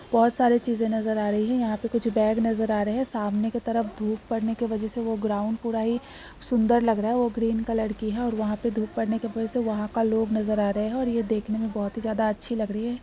बहुत सारे चीजे नजर आ रही है। यहाँ पे कुछ बैग नजर आ रहे हैं। सामने की तरफ धूप पड़ने की वजह से वो ग्राउंड पूरा ही सुन्दर लग रहा है। वो ग्रीन कलर की है और वहाँ पे धूप पड़ने की वजह से वहाँ का लोग नजर आ रहे हैं और ये देखने में बहुत ही ज्यादा अच्छी लग रही है।